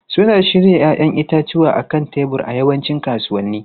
Suna shirya 'ya'yan itatuwa a kan tebur a yawancin kasuwanni.